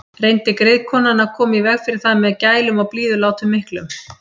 Reyndi griðkonan að koma í veg fyrir það með gælum og blíðulátum miklum.